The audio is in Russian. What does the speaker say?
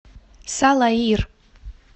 салаир